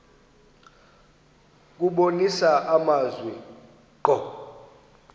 kubonisa amazwi ngqo